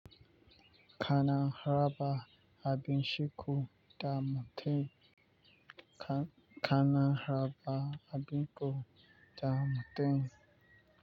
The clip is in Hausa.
Kana raba abin shuku da mutum. Kana raba abin ku da mutum.